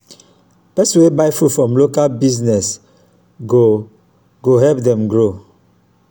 pesin wey buy from local business go go help dem grow.